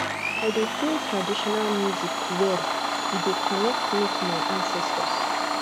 i dey feel traditional music well e dey connect me to my ancestors